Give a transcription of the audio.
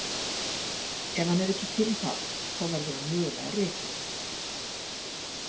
Ef hann er ekki til í það þá verður hann mögulega rekinn.